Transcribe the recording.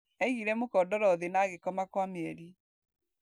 Aigire mũkondoro thĩ na agĩkoma kwa mĩeri.